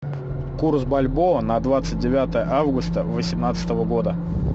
курс бальбоа на двадцать девятое августа восемнадцатого года